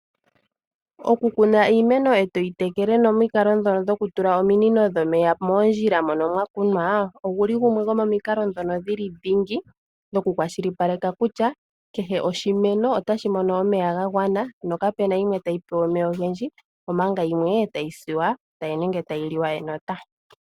Okukuna iimeno etoyi tekele nomikalo ndhono dhokutula ominino dhomeya moondjila mono mwakunwa oguli gumwe gomomikalo ndhono ndhili ndhingi mokukwashili paleka kutya kehe oshimeno otashi mono omeya gagwana nokapena yimwe tayi pewa omeya ogendji omanga yimwe tayi liwa enota.